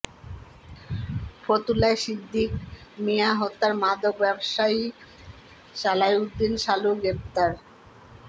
ফতুল্লায় সিদ্দিক মিয়া হত্যায় মাদক ব্যবসায়ী সালাউদ্দিন সালু গ্রেপ্তার